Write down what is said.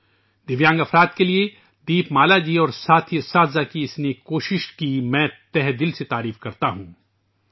میں معذور افراد کے لیے دیپ مالا جی اور ساتھی اساتذہ کی اس عظیم کاوش کی دل کی گہرائیوں سے ستائش کرتا ہوں